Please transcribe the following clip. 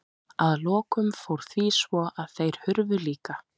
Að lokum fór því svo að þeir hurfu líka.